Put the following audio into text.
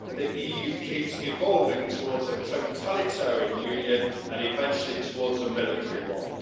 The EU keeps evolving towards a totalitarian union and eventually towards a military one.